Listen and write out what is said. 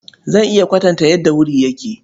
Zan iya kwatanta yadda wuri yake.